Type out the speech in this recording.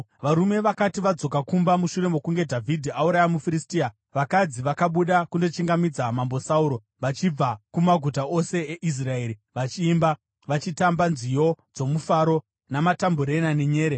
Varume vakati vodzoka kumba, mushure mokunge Dhavhidhi auraya muFiristia, vakadzi vakabuda kundochingamidza Mambo Sauro vachibva kumaguta ose eIsraeri vachiimba, vachitamba nziyo dzomufaro, namatambureni nenyere.